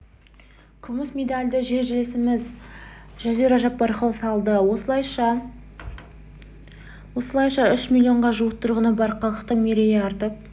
күміс медальді жерлесіміз жазира жаппарқұл салды осылайша үш миллионға жуық тұрғыны бар халықтың мерейі артып